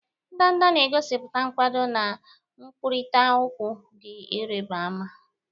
Ndanda na-egosipụta nkwado na nkwurịta okwu dị ịrịba ama.